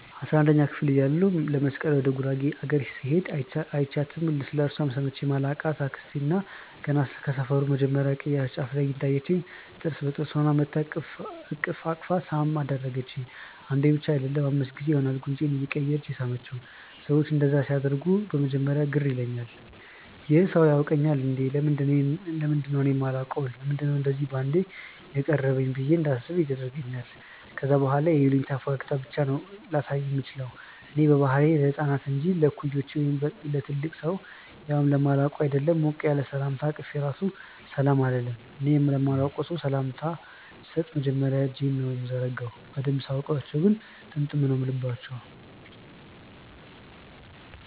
አስራንደኛ ክፍል እያለሁ ለመስቀል ወደ ጉራጌ አገር ስሄድ÷ አይችያትም ስለእርሷም ሰምቼ ማላቅ አክስት ገና ከሰፈሩ መጀመርያ ቅያስ ጫፍ ላይ እንዳየቺኝ ጥርስ በጥርስ ሆና መጥታ እቅፍ ሳም አደረገቺኝ። አንዴ ብቻ አይደለም÷ አምስት ጊዜ ይሆናል ጉንጬን እያቀያየረች የሳመቺኝ። ሰዎች እንደዛ ሲያደርጉ በመጀመርያ ግር ይለኛል- "ይህ ሰው ያውቀኛል እንዴ? ለምንድነው እኔ ማላውቀው? ለምንድነው እንደዚ ባንዴ ያቀረበኝ?" ብዬ እንዳስብም ያደርገኛል ከዛ በኋላ የይሉኝታ ፈገግታ ብቻ ነው ላሳየው ምችለው። እኔ በባህሪዬ ለህፃናት እንጂ ለእኩዮቼ ወይም ለትልቅ ሰው ያውም ለማላውቀው ÷ አይደለም ሞቅ ያለ ሰላምታ አቅፌ ራሱ ሰላም አልልም። እኔ ለማላቀው ሰው ሰላምታ ስሰጥ መጀመርያ እጄን ነው ምዘረጋው። በደንብ ሳውቃቸው ግን ጥምጥም ነው ምልባቸው።